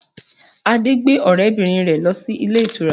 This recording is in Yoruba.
Adé gbé ọrẹ bìnrin rẹ lọ sí ilé ìtura